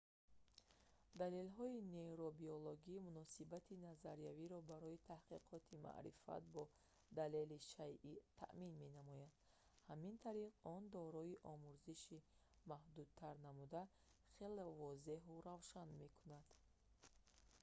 далелҳои нейробиологӣ муносибати назариявиро барои таҳқиқоти маърифат бо далели шайъӣ таъмин менамояд ҳамин тариқ он доираи омӯзишро маҳдудтар намуда хеле возеҳу равшан мекунад